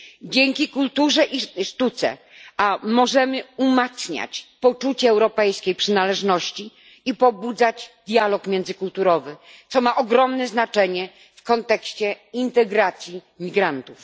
Dzięki kulturze i sztuce możemy umacniać poczucie europejskiej przynależności i pobudzać dialog międzykulturowy, co ma ogromne znaczenie w kontekście integracji migrantów.